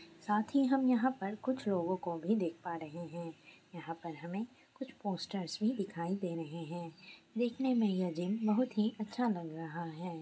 साथ ही हम यहाँ पर कुछ लोगों को भी देख पा रहे है यहाँ पर हमें कुछ पोस्टर्स भी दिखाई दे रहे है दिखने में ये जिम बहुत ही अच्छा लग रहा है।